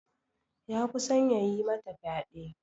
Ya kusan ya yi mata fyade.